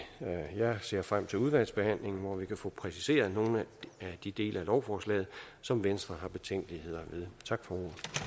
jeg ser frem til udvalgsbehandlingen hvor vi kan få præciseret nogle af de dele af lovforslaget som venstre har betænkeligheder ved tak for